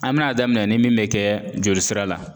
An bɛn'a daminɛ ni min bɛ kɛ jolisira la;